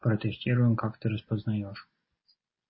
протестируем как ты распознаешь